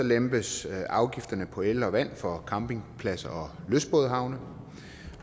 lempes afgifterne på el og vand for campingpladser og lystbådehavne